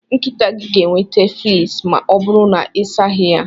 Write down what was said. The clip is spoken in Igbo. Nkịta gị ga-enweta fleas ma ọ bụrụ na ịsaghị ya.